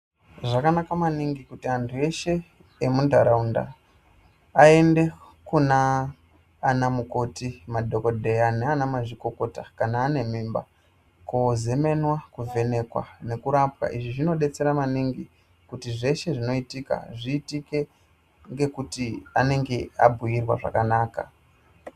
Zvakanaka maningi kuti antu eshe emuntaraunda aende Kuna ana mukoti, madhokodheya nana mazvikokota kana ane mimba, kozemenwa, kovhenekwa nekurapwa. Izvi zvinodetsera maningi kuti zveshe zvinoitika zviitike ngekuti anenge abhuirwa zvakanaka.